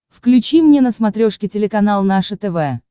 включи мне на смотрешке телеканал наше тв